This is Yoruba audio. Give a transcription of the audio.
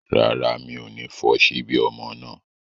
Rárá, mi ò ní fọ ṣíbí ọmọ náà